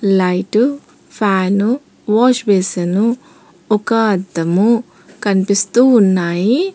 Light fan wash basin ఒక అద్దము కనిపిస్తూ ఉన్నాయి.